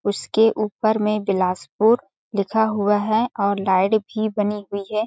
उसके ऊपर में बिलासपुर लिखा हुआ है और लाइट भी बनी हुई हैं।